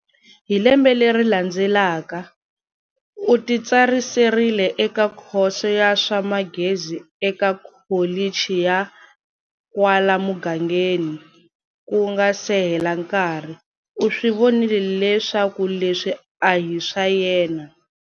Hi lembe leri landzelaka, u ti tsariserile eka khoso ya swa Magezi eka Kholichi ya kwala mugangeni, ku nga se hela nkarhi, u swi vonile leswaku leswi a hi swa yena.